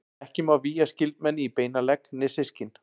Ekki má vígja skyldmenni í beinan legg né systkin.